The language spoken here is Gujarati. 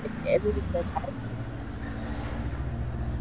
એવી રીતે થાય.